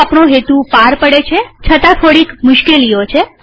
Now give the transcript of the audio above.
તે આપણો હેતુ પાર પાડે છે છતાં થોડીક મુશ્કેલીઓ છે